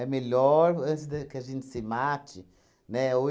É melhor antes da que a gente se mate, né, ou